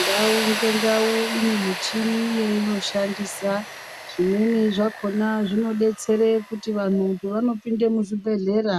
Ndau ngendau inemichini yeinoshandisa, zvimweni zvakona zvinobetsere kuti vantu pavanopinde muzvibhedhlera